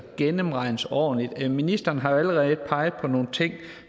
gennemregnes ordentligt ministeren har jo allerede peget på nogle ting